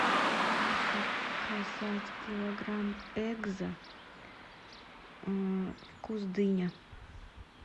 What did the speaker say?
заказать килограмм экзо вкус дыня